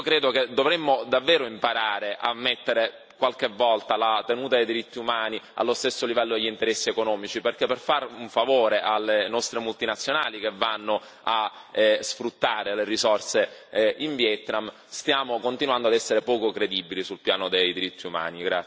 Io credo che dovremmo davvero imparare a mettere qualche volta la tenuta dei diritti umani allo stesso livello degli interessi economici perché, per fare un favore alle nostre multinazionali che vanno a sfruttare le risorse in Vietnam, stiamo continuando ad essere poco credibili sul piano dei diritti umani.